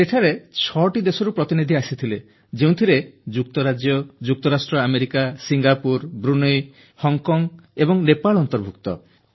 ସେଠାରେ ଛଅଟି ଦେଶରୁ ପ୍ରତିନିଧି ଆସିଥିଲେ ଯେଉଁଥିରେ ବ୍ରିଟେନ ଯୁକ୍ତରାଷ୍ଟ୍ର ଆମେରିକା ସିଙ୍ଗାପୁର ବ୍ରୁନେଇ ହଂକଂ ଏବଂ ନେପାଳ ଅନ୍ତର୍ଭୁକ୍ତ